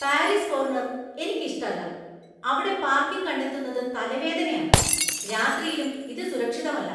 Paris corner‍ എനിക്ക് ഇഷ്ടല്ല. അവിടെ പാർക്കിംഗ് കണ്ടെത്തുന്നത് തലവേദനയാണ്, രാത്രിയിലും ഇത് സുരക്ഷിതമല്ല.